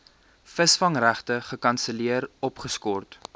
visvangregte gekanselleer opgeskort